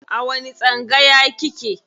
A wani tsangaya kike?